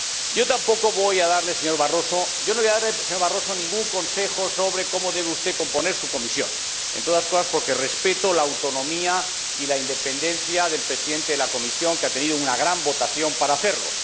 Yo tampoco voy a darle, señor Barroso, ningún consejo sobre cómo debe usted componer su Comisión, entre otras cosas porque respeto la autonomía y la independencia del Presidente de la Comisión, que ha tenido una gran votación para hacerlo.